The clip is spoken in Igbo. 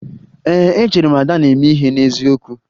Ee, echere m na Ada na-eme ihe n'eziokwu